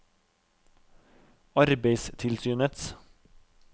arbeidstilsynets